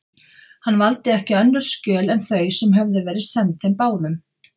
Hann valdi ekki önnur skjöl en þau, sem höfðu verið send þeim báðum.